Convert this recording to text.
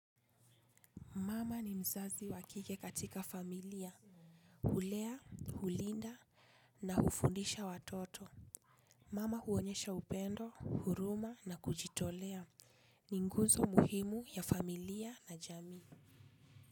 Mama ni mzazi wa kike katika familia. Hulea, hulinda na hufundisha watoto. Mama huonyesha upendo, huruma na kujitolea. Ni nguzo muhimu ya familia na jamii.